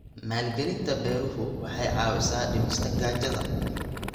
Maalgelinta beeruhu waxay caawisaa dhimista gaajada.